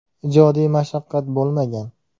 Ijodiy mashaqqat bo‘lmagan.